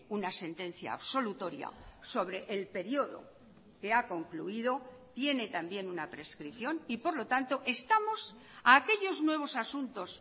una sentencia absolutoria sobre el periodo que ha concluido tiene también una prescripción y por lo tanto estamos a aquellos nuevos asuntos